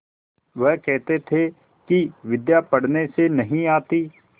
वह कहते थे कि विद्या पढ़ने से नहीं आती